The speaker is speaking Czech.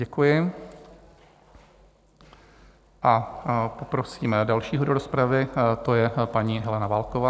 Děkuji A poprosím dalšího DO rozpravy, to je paní Helena Válková.